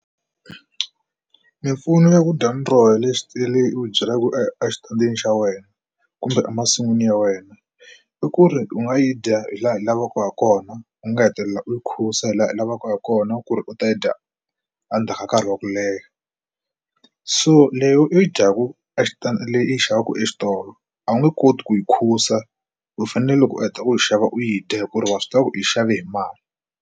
Mimpfuno ya ku dya miroho leyi u byalaka exitandini xa wena kumbe emasin'wini ya wena i ku ri u nga yi dya hi laha hi lavaka hi kona u nga hetelela u yi khusa hi laha u lavaka ha kona ku ri u ta yi dya endzhaku ka nkarhi wa ku leha so leyi i dyaku a xitalo i xavaku exitolo a wu nge koti ku yi mukhusa u fanele loko u heta u xava u yi dya hi ku ri wa swi tiva ku u yi xave hi mali.